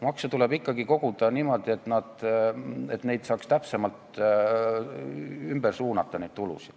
Makse tuleb ikkagi koguda niimoodi, et saaks seda raha täpsemalt suunata.